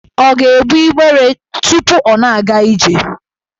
Ọ ga-egbe igbere tupu ọ na-aga ije?